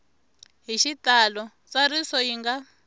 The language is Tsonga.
hi xitalo ntsariso yi nga